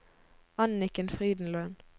Anniken Frydenlund